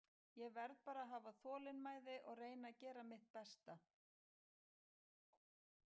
Ég verð bara að hafa þolinmæði og reyna að gera mitt besta.